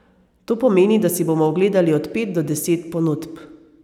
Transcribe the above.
To pomeni, da si bomo ogledali od pet do deset ponudb.